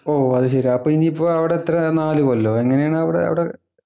ഓ അത് ശരി അപ്പൊ ഇനിയിപ്പോ അവിടെ എത്രയാ നാലു കൊല്ലോ എങ്ങനെയാണ് അവിടെ അവിടെ